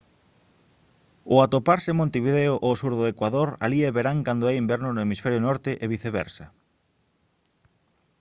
ao atoparse montevideo ao sur do ecuador alí é verán cando é inverno no hemisferio norte e viceversa